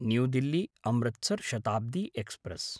new Delhi Amritsar Shatabdi express